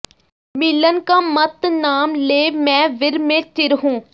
ਮਿਲਨ ਕਾ ਮਤ ਨਾਮ ਲੇ ਮੈਂ ਵਿਰਹ ਮੇਂ ਚਿਰ ਹੂੰ